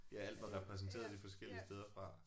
Ja alt var repræsenteret de forskellige steder fra